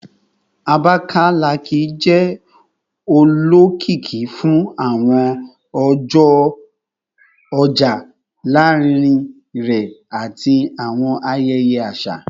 Abakalaki jẹ olokiki fun awọn ọja larinrin rẹ ati awọn ayẹyẹ aṣa